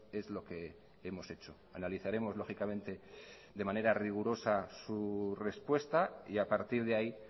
es lo que hemos hecho analizaremos lógicamente de manera rigurosa su respuesta y a partir de ahí